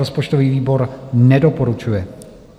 Rozpočtový výbor nedoporučuje.